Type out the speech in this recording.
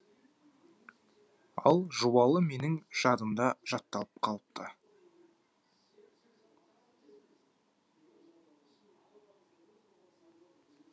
ал жуалы менің жадымда жатталып қалыпты